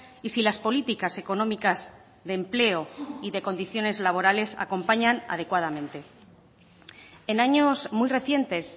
y si las políticas económicas de empleo y de condiciones laborales acompañan adecuadamente en años muy recientes